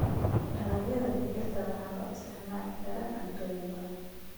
Dalagyada digirta waxaa loo isticmaali karaa cuntooyin badan.